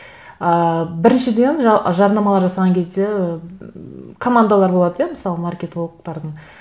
ыыы біріншіден жарнамалар жасаған кезде ммм командалар болады иә мысалы маркетологтардың